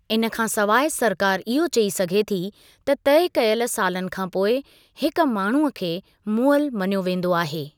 इन खां सवाइ सरकारु इहो चई सघे थी त तय कयल सालनि खां पोइ हिकु माण्हूअ खे मुअलु मञियो वेंदो आहे।